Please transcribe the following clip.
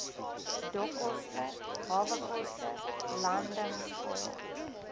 dokkoste hawekoste landingsfooie